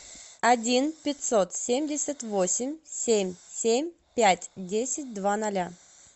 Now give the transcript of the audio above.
один пятьсот семьдесят восемь семь семь пять десять два ноля